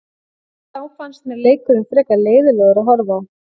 En þá fannst mér leikurinn frekar leiðinlegur að horfa á.